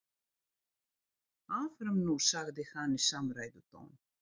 Áfram nú sagði hann í samræðutón.